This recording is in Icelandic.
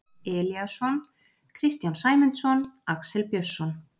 Elíasson, Kristján Sæmundsson, Axel Björnsson